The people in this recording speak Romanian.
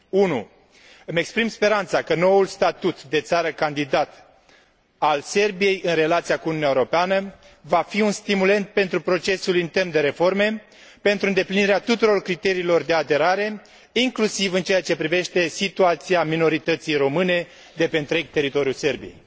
1. Îmi exprim speranța că noul statut de țară candidată al Serbiei în relația cu Uniunea Europeană va fi un stimulent pentru procesul intern de reforme și pentru îndeplinirea tuturor criteriilor de aderare, inclusiv în ceea ce privește situația minorității române de pe întreg teritoriul Serbiei.